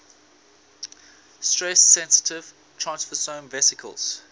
stress sensitive transfersome vesicles